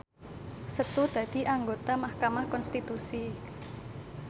Setu dadi anggota mahkamah konstitusi